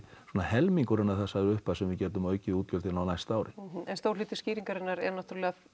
svona helmingurinn af þessari upphæð sem við getum aukið útgjöldin á næsta ári en stór hluti skýringarinnar er náttúrulega